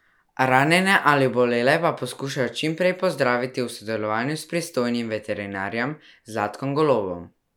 Ranjene ali obolele pa poskušajo čim prej pozdraviti v sodelovanju s pristojnim veterinarjem Zlatkom Golobom.